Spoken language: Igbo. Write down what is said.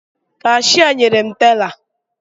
Kashịa nyere m tela